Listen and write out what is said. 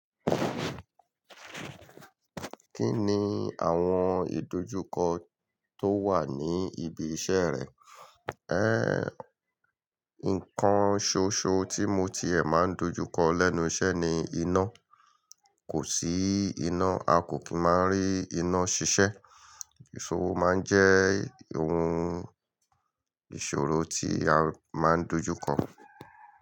Kí ni àwọn ìdojúkọ tó wà ní ibi iṣẹ́ rẹ? Ẹ́, nǹkan ṣoṣo tí mo ti ẹ máa ń dojúkọ lẹ́nu iṣẹ́ ni iná. Kò sí iná, a kò kí máa rí iná ṣiṣẹ́. Ìṣòro máa ń jẹ́ ohun ìṣòro tí a máa ń dojúkọ.